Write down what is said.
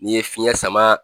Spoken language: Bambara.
N'i ye fiyɛn sama